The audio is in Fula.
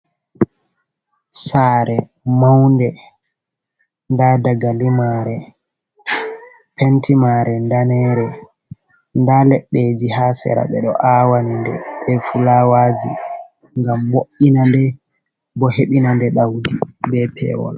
Sare maunde nda dagalimare, pentimare danere, nda leɗɗeji ha sera, ɓe ɗo awande be fulawaji gam mo’ina nde bo hebina nde ɗaudi be pewol.